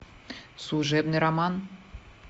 служебный роман